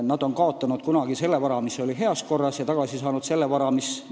Nad kaotasid kunagi vara, mis oli heas korras, ja on tagasi saanud vara, mis on halvas korras.